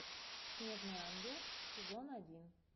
снежный ангел сезон один